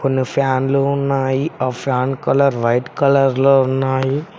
కొన్ని ఫ్యాన్లు ఉన్నాయి ఆ ఫ్యాన్ కలర్ వైట్ కలర్ లో ఉన్నాయి.